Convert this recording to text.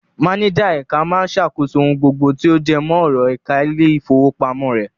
Máníjà ẹ̀ka máa ṣàkóso ohun gbogbo tí ó jẹmọ́ ọ̀rọ̀ ẹ̀ka ilé-ìfowópamọ́ rẹ̀.